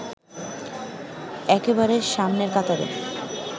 একেবারে সামনের কাতারে